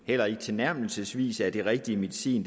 eller tilnærmelsesvis er den rigtige medicin